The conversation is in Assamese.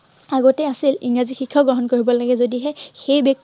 আগতে আছিল, ইংৰাজী শিক্ষাও গ্ৰহণ কৰিব লাগে, যদিহে সেই